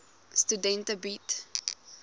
studente bied